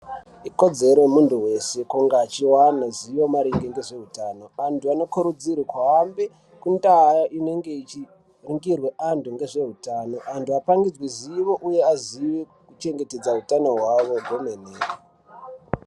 Ikodzero yemuntu weshe kunge achiwana zivo maringe ngezvehutano antu anikurudzirwe kuhambe kundaa inenge ichiringirwe antu ngezvehutano. Antu apangidzwe zivo uye aziye kuchengetedza utano hwavo kwemene.